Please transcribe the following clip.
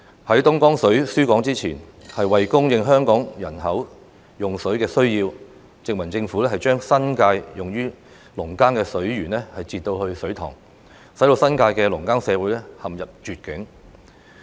在東江水輸港前，為供應香港人口的用水需要，殖民政府將新界用於農耕的水源截流至水塘，使新界的農耕社會陷入絕境。